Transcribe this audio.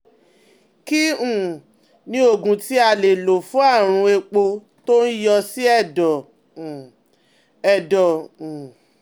Kí um ni oògùn tí a lè lò fún àrùn éèpo tó ń yọ sí ẹ̀dọ̀? um ẹ̀dọ̀? um